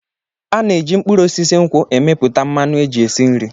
A na-eji mkpụrụ osisi nkwụ emepụta mmanụ eji esi nri.